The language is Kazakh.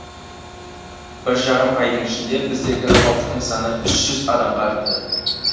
бір жарым айдың ішінде біздегі халықтың саны үш жүз адамға артты